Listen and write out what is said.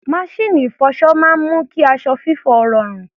Maṣíìnì ìfọṣọ máa ń mú kí aṣọ fífọ̀ rọrùn.